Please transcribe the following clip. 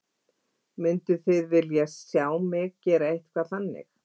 Mynduð þið vilja sjá mig gera eitthvað þannig?